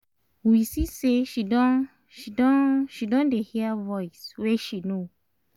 we see say she don she don she don dey hear voice wey she know